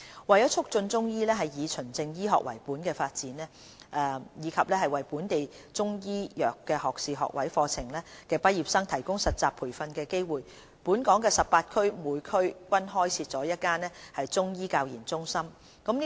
為促進中醫藥以"循證醫學"為本的發展，以及為本地中醫藥學士學位課程畢業生提供實習培訓的機會，全港18區每區均開設了1間中醫教研中心。